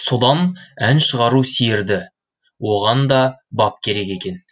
содан ән шығару сиерді оған да бап керек екен